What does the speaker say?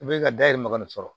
I bɛ ka dayɛlɛ man ka nin sɔrɔ